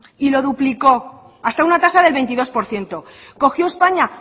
y lo duplicó hasta una tasa del veintidós por ciento cogió españa